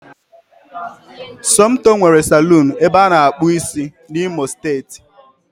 Somtoo nwere salọ̀ọ̀n ebe ana akpụ ịsị n'imo steeti